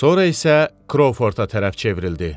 Sonra isə Krovforda tərəf çevrildi.